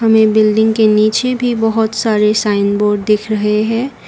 हमें बिल्डिंग के नीचे भी बहुत सारे साइन बोर्ड दिख रहे हैं।